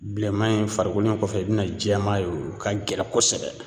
Bilenman in farikolo in kɔfɛ i bina jɛman ye o ka gɛlɛn kosɛbɛ